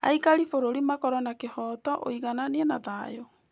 Aikari a bũrũri makorwo na kĩhooto, ũiganania, na thayũ